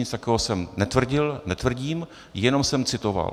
Nic takového jsem netvrdil, netvrdím, jenom jsem citoval.